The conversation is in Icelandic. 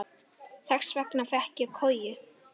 Þess vegna fékk ég koju.